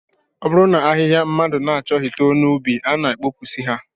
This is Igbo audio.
Ọ bụrụ na ahịhịa mmadụ achọghị too n'ubi, a na-abọpụsị ha